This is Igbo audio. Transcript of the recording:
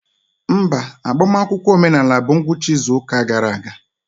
Mba, agbamakwụkwọ omenala bụ ngwụcha izu ụka gara aga.